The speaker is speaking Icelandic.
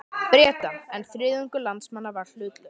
Breta, en þriðjungur landsmanna var hlutlaus.